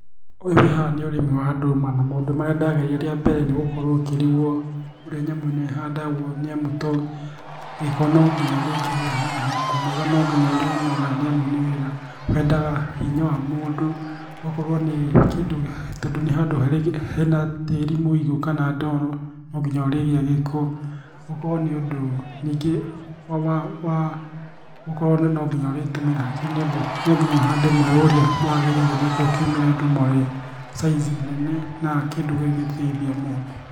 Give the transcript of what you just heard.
Ũyũ wĩ haha nĩ ũrĩmi wa ndũma na maũndũ marĩa ndagereire rĩa mbere nĩ gũkorwo ũkĩrigwo ũrĩa nyamũ ĩno ĩhandagwo nĩ amu tondũ gĩko no nginya ũrĩkĩgĩa haha kũnoga no nginya ũrĩ noga nĩ amu nĩ wĩra wendaga hinya wa mũndũ. Ũgakora nĩ kĩndũ tondũ nĩ handũ hena tĩri mũigũ kana ndoro no nginya ũrĩgĩa gĩko. Ũkorwo nĩ ũndũ no nginya ũrĩtũmĩra hakiri nĩ amu no nginya ũhande mweũ ũrĩa wagĩrĩire nĩ gethga ũkiumĩre ndũma ũrĩa size nene na kĩndũ kĩngĩ teithia mũndũ.